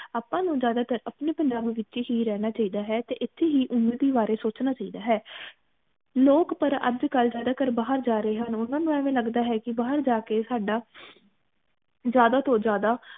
ਆਪਾ ਨੂੰ ਜ਼ਿਆਦਾ ਤਰ ਅਪਣੇ ਪੰਜਾਬ ਵਿਚ ਹੀ ਰਹਿਣਾ ਚਾਹੀਦਾ ਹੈ ਤੇ ਇਥੇ ਹੀ ਉਨਤੀ ਬਾਰੇ ਸੋਚਣਾ ਚਾਹੀਦਾ ਹੈ ਲੋਗ ਪਰ ਅਜ ਕਲ ਜ਼ਿਆਦਾ ਤਰ ਬਾਹਰ ਜਾ ਰਹੇ ਹਨ ਓਹਨਾ ਨੂੰ ਐਵੇ ਲਗਦਾ ਹੈ ਕਿ ਬਾਹਰ ਜਾ ਕੇ ਸਾਡਾ ਜ਼ਿਆਦਾ ਤੋਂ ਜ਼ਿਆਦਾ